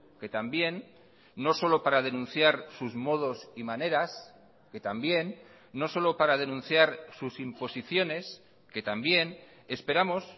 que también no solo para denunciar sus modos y maneras que también no solo para denunciar sus imposiciones que también esperamos